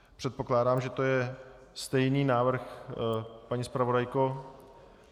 Předpokládám, že to je stejný návrh, paní zpravodajko.